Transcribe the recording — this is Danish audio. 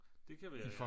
Det kan være ja